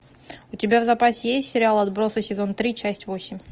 у тебя в запасе есть сериал отбросы сезон три часть восемь